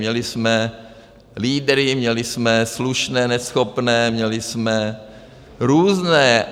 Měli jsme lídry, měli jsme slušné, neschopné, měli jsme různé.